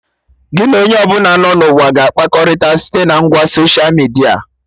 Gị na onye ọbụla nọ na ụwa ga-akpakọrịta site na ngwa soshia midia